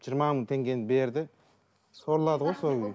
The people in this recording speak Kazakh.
жиырма мың теңгені берді сорлады ғой сол күйі